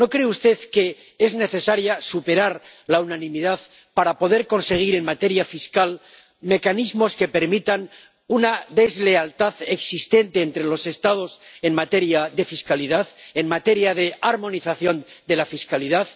¿No cree usted que es necesario superar la unanimidad para poder conseguir en materia fiscal mecanismos que permitan superar la deslealtad existente entre los Estados en materia de fiscalidad, en materia de armonización de la fiscalidad?